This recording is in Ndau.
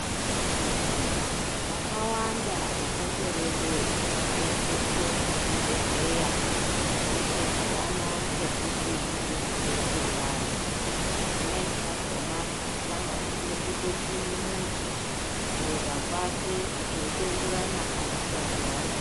Hwakawanda hwutekwerede hunoseenzeswe muzvibhedhlera zvochienderana ngekuti zvinode kuseenze pari zvimweni zvakona zvinosanganisire kutopime muntu kureba kwake zveitoenderana nemitombo yaano.